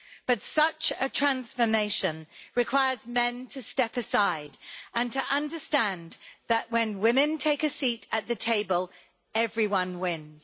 But such a transformation requires men to step aside and to understand that, when women take a seat at the table, everyone wins.